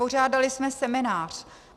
Pořádali jsme seminář.